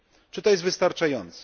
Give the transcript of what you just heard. Czy to jest wystarczające?